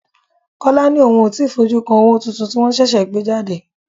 Kọ́lá ni òun ó ti fojú kan owó tuntun tí wọn ṣẹ̀ṣẹ̀ gbé jáde.